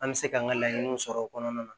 An bɛ se k'an ka laɲiniw sɔrɔ o kɔnɔna na